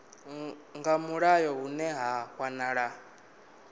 nga mulayo hune ha wanala